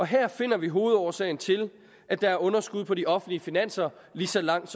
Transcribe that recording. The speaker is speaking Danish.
her finder vi hovedårsagen til at der er underskud på de offentlige finanser lige så langt